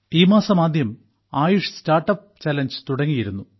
ഈ മാസം ആദ്യം ആയുഷ് സ്റ്റാർട്ടപ്പ് ചലഞ്ച് തുടങ്ങിയിരുന്നു